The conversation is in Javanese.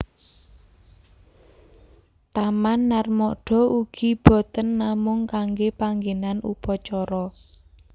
Taman Narmada ugi boten namung kangge panggenan Upacara